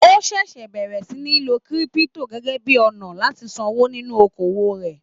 O ṣẹṣẹ bẹrẹ sí ní lò kírípútò gẹgẹ bíi ọnà láti sanwó nínú okoowó rẹ.